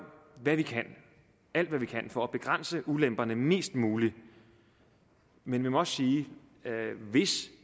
alt hvad vi kan for at begrænse ulemperne mest muligt men vi må også sige at hvis